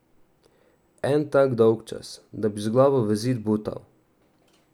En tak dolgčas, da bi z glavo v zid butal.